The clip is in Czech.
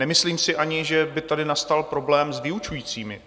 Nemyslím si ani, že by tady nastal problém s vyučujícími.